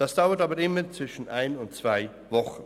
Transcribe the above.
Das dauert aber immer zwischen einer und zwei Wochen.